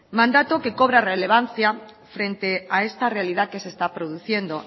mandato que cobra relevancia frente a esta realidad que se está produciendo